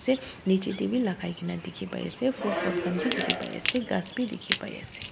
niche te bi lagai kena dikhi pai ase phool pot khan bi dikhi pai ase ghas bi dikhi pai ase.